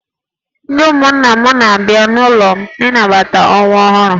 Ndị ụmụnna m na-abịa n'ụlọ m ịnabata nwa ọhụrụ m